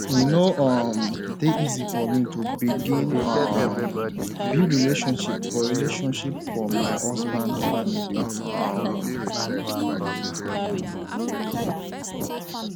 e no um dey easy for me to begin um build relationship for relationship for my husband family um